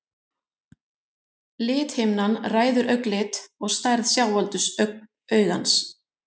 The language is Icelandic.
Lithimnan ræður augnlit og stærð sjáaldurs augans.